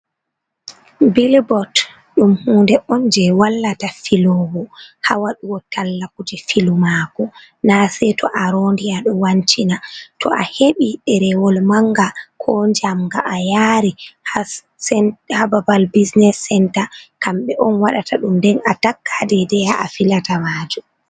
billbot dum hunde on je wallata filowo ha waɗugo talla kuje filu mako na sey to a rondiya do wancina to a heɓi derewol manga ko jamga a yari hababal busnes center kambe on waɗata dum nden a takkadedeha a filata maju.